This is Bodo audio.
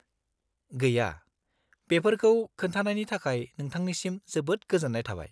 -गैया, बेफोरखौ खोन्थानायनि थाखाय नोंथांनिसिम जोबोद गोजोन्नाय थाबाय।